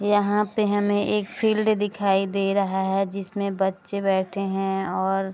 यहाँ पे हमें एक फिल्ड दिखाई दे रहा है जिसमे बच्चे बैठे है और --